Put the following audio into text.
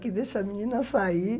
Que deixa a menina sair.